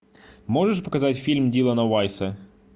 можешь показать фильм дилана вайса